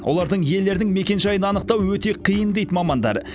олардың иелерінің мекенжайын анықтау өте қиын дейді мамандар